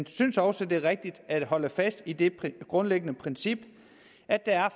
synes også det er rigtigt at holde fast i det grundlæggende princip at der